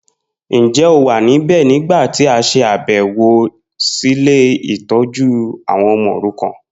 Njẹ́ o wa níbẹ̀ nígbàtí a ṣàbẹ̀wọ̀ si ile-itójú àwon ọmọ orukan?